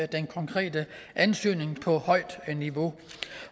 den konkrete ansøgning på højt niveau